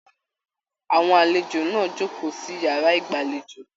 Àwọn àlejò náà jókòó di yàrá ìgbàlèjo.